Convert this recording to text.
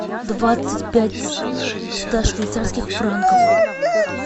двадцать пять ста швейцарских франков